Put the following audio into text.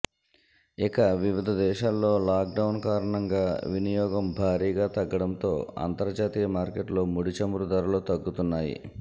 ఇక వివిధ దేశాల్లో లాక్డౌన్ కారణంగా వినియోగం భారీగా తగ్గడంతో అంతర్జాతీయ మార్కెట్లో ముడిచమురు ధరలు తగ్గుతున్నాయి